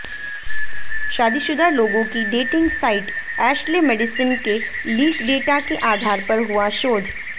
शादीशुदा लोगों की डेटिंग साइट एशले मेडिसन के लीक डेटा के आधार पर हुआ शोध